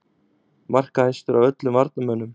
Markahæstur af öllum varnarmönnum??